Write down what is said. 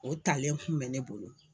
O talen kun bɛ ne bolo.